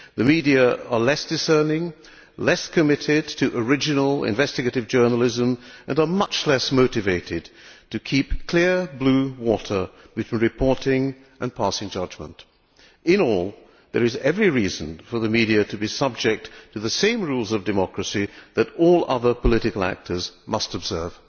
The media are less discerning, less committed to original investigative journalism and are much less motivated to keep clear blue water between reporting and passing judgment. All in all, there is every reason for the media to be subject to the same rules of democracy that all other political actors must observe.